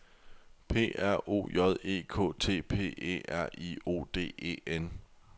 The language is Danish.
P R O J E K T P E R I O D E N